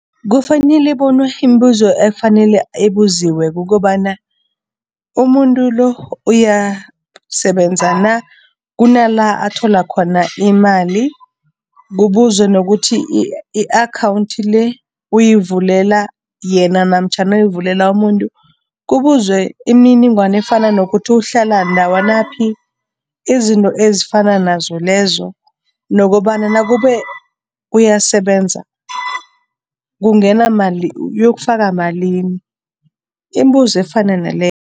Kufanele bona imibuzo efanele ebuziwa kukobana umuntu lo uyasebenza na, kunala athola khona imali, kubuzwe nokuthi i-akhawundi le uyivulela yena namtjhana uyivulela umuntu, kubuzwe imininingwana efana nokuthi uhlala ndawanaphi, izinto ezifana nazo lezo nokobana nakube uyasebenza kungena mali ukuyokufaka malini, iimbuzo efana naleyo.